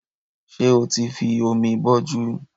Ṣé o ti fi omi bọjú